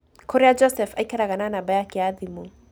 kũrĩa Joseph aikaraga na namba yake ya thimũ